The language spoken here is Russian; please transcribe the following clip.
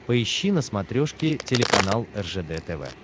поищи на смотрешке телеканал ржд тв